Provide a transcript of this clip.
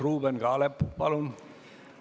Ruuben Kaalep, palun!